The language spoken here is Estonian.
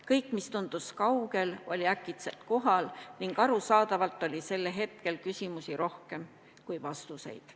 Kõik, mis tundus kaugel, oli äkitselt kohal ning arusaadavalt oli sellel hetkel küsimusi rohkem kui vastuseid.